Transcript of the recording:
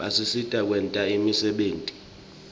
basisita kwenta imisebenti